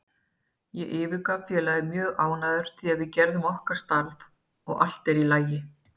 Ég yfirgef félagið mjög ánægður því við gerðum okkar starf og allt er í lagi.